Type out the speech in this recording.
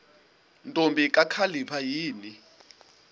ntombi kakhalipha yini